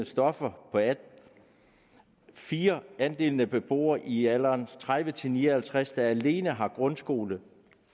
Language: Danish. stoffer 4 andelen af beboere i alderen tredive til ni og halvtreds år der alene har grundskole